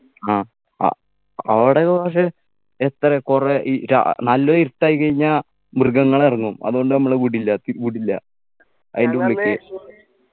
ആ ആഹ് അവിടൊക്കെ പക്ഷേ എത്ര കുറേ ഈ ര ഏർ നല്ലൊരിരുട്ടായി കഴിഞ്ഞാ മൃഗങ്ങൾ ഇറങ്ങും അതുകൊണ്ട് നമ്മളെ വിടില്ലാത്തി വിടില്ല അയിൻ്റെ ഉള്ളിക്ക്